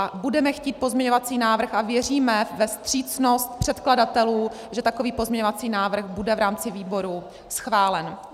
A budeme chtít pozměňovací návrh a věříme ve vstřícnost předkladatelů, že takový pozměňovací návrh bude v rámci výboru schválen.